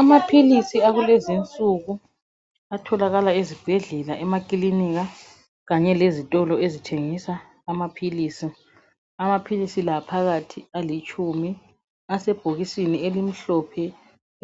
Amaphilisi akulezinsuku atholakala ezibhedlela lemakilinika Kanye lezitolo ezithengisa amaphilisi. Amaphilisi la phakathi alitshumi asebhokisini elimhlophe